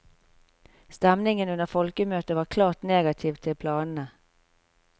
Stemningen under folkemøtet var klart negativ til planene.